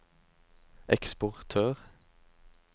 eksportør